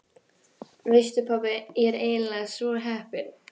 Veistu pabbi, ég er eiginlega svo heppin.